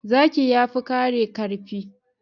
Zaki yafi kare karfi